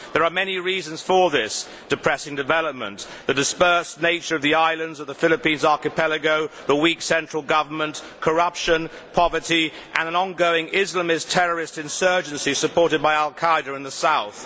There are many reasons for this depressing development the dispersed nature of the islands of the Philippines archipelago, the weak central government, corruption, poverty and an ongoing Islamist terrorist insurgency supported by al Qaeda in the south.